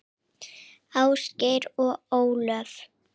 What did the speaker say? Ásgeir og Ólöf.